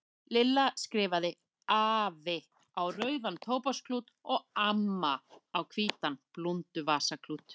Lilla skrifaði AFI á rauðan tóbaksklút og AMMA á hvítan blúnduvasaklút.